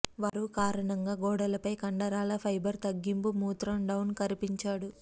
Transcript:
వారు కారణంగా గోడలపై కండరాల ఫైబర్ తగ్గింపు మూత్రం డౌన్ కరిపించాడు